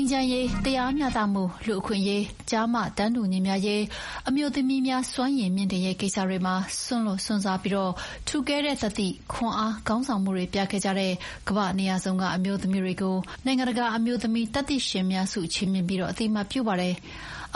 ချမ်းရေး၊ တရားမျှတမှု၊ လူ့အခွင့်အရေး၊ ကျား-မတန်းတူညီမျှရေး၊ အမျိုးသမီးများစွမ်းရည်မြှင့်တင်ရေး ကိစ္စတွေမှာ စွန့်လွှတ်စွန့်စားပြီး ထူးကဲတဲ့သတ္တိ၊ ခွန်အား၊ ခေါင်းဆောင်မှုတွေပြခဲ့တဲ့ ကမ္ဘာ့နေရာစုံကအမျိုးသမီးတွေကို နိုင်ငံတကာအမျိုးသမီးသတ္တိရှင်များဆု ချီးမြှင့်ပြီး အမေရိကန်ကအသိအမှတ်ပြုပါတယ်။